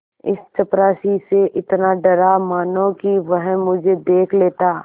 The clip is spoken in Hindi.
इस चपरासी से इतना डरा मानो कि वह मुझे देख लेता